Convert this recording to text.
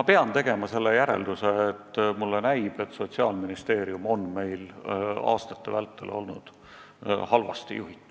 ma pean tegema sellise järelduse: mulle näib, et Sotsiaalministeerium on meil olnud aastate vältel halvasti juhitud.